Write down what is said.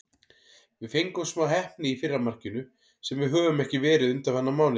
Við fengum smá heppni í fyrra markinu, sem við höfum ekki verið undanfarna mánuði.